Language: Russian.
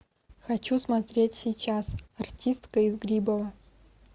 хочу смотреть сейчас артистка из грибово